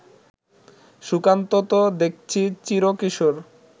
সুকান্ত তো দেখছি চিরকিশোর